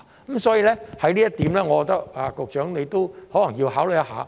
因此，就這一點，我認為局長可能要考慮一下。